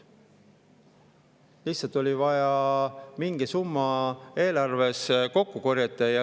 Lihtsalt oli vaja mingi summa eelarves kokku korjata.